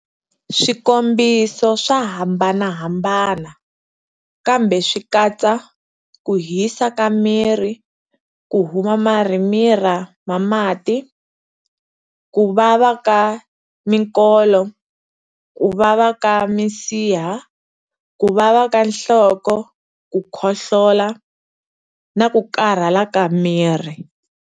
Swikombiso swa hambanahambana, kambe swi katsa-ku hisa ka miri, ku huma marhimila ma mati, ku vava ka mikolo, ku vava ka misiha, ku vava ka nhloko, ku khohlola, na ku karhala ka miri.